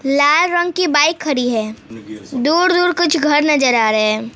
लाल रंग की बाइक खड़ी है दूर दूर कुछ घर नजर आ रहे हैं।